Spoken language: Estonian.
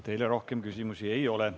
Teile rohkem küsimusi ei ole.